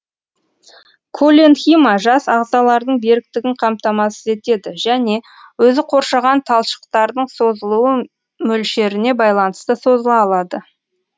колленхима жас ағзалардың беріктігін қамтамасыз етеді және өзі қоршаған талшықтардың созылуы мөлшеріне байланысты созыла алады